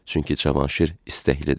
Çünki Cavanşir istəklidir.